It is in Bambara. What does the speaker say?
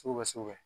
Sugu bɛ sugu bɛ